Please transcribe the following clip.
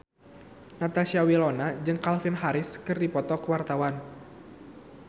Natasha Wilona jeung Calvin Harris keur dipoto ku wartawan